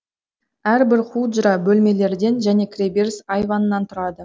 әрбір худжра бөлмелерден және кіреберс айваннан тұрады